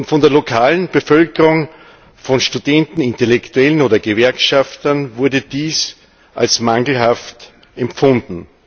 Von der lokalen Bevölkerung von Studenten, Intellektuellen oder Gewerkschaftern wurde es als mangelhaft empfunden.